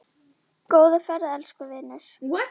Góða ferð, elsku vinur.